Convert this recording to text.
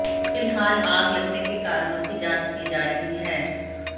फिलहाल आग लगने के कारणों की जांच की जा रही है